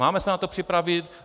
Máme se na to připravit?